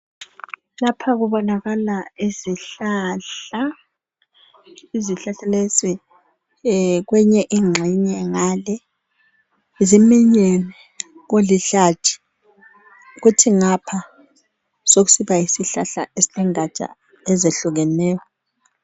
Lapha kubonakala izihlahla, izihlahla lezi kweyinye ingxenye ngale ziminyene kulihlathi kuthi ngapha sekusiba yisihlahla esengatsha ezihlukeneyo.